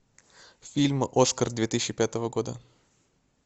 фильм оскар две тысячи пятого года